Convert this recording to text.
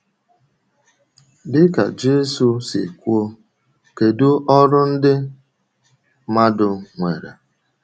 Dị̀ka Jisù si kwuo, kédu ọrụ ndị mmàdù nwèrè?